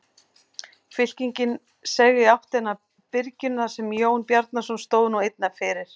Fylkingin seig í áttina að byrginu þar sem Jón Bjarnason stóð nú einn fyrir.